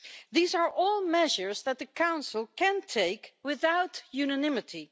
These are all measures that the Council can take without unanimity.